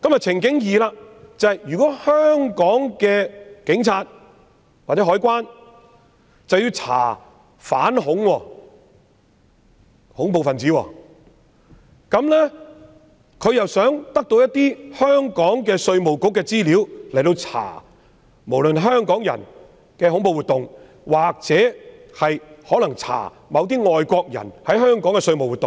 情景二是，如果香港的警察或海關想調查恐怖分子，便須向香港稅務局索取資料，以調查任何人在香港的恐怖活動或外國人在香港的稅務活動。